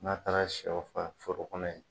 N'a taara sɛw faa foro kɔnɔ ye